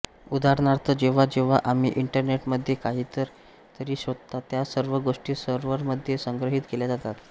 उदाहरणार्थ जेव्हा जेव्हा आम्ही इंटरनेटमध्ये काहीतरी शोधतो त्या सर्व गोष्टी सर्व्हरमध्ये संग्रहित केल्या जातात